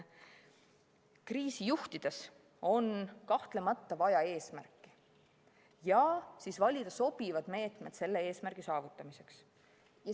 Kriisi juhtides on kahtlemata vaja eesmärki ja siis tuleb valida sobivad meetmed selle eesmärgi saavutamiseks.